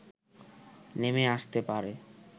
নেমে আসতে পারে